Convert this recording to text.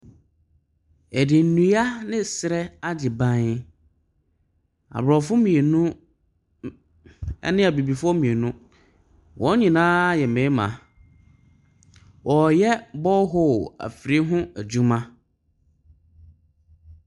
Wɔde nnua ne serɛ agye ban. Aborɔfo mmienu, m ne Abibifoɔ mmienu. Wɔn nyinaa yɛ mmarima. Wɔreyɛ borehole afidie ho adwuma.